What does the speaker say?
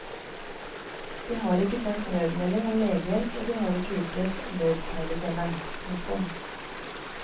De har ikke sendt nødmelding om legehjelp og de har ikke utløst nødpeilesenderen. punktum